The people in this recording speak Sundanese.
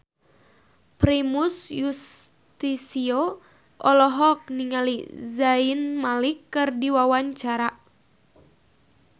Primus Yustisio olohok ningali Zayn Malik keur diwawancara